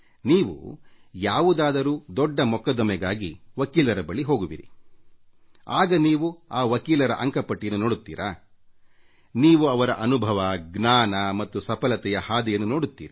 ನೀವು ಯಾವುದಾದರೂ ದೊಡ್ಡ ಕಾನೂನು ಹೋರಾಟಕ್ಕೆ ವಕೀಲರ ಬಳಿ ಹೋಗುವಿರಿ ಆಗ ನೀವು ಆ ವಕೀಲರ ಅಂಕ ಪಟ್ಟಿಯನ್ನು ನೋಡುತ್ತೀರಾ ನೀವು ಅವರ ಅನುಭವ ಜ್ಞಾನ ಮತ್ತು ಸಫಲತೆಯ ಹಾದಿಯನ್ನು ನೋಡುತ್ತೀರಿ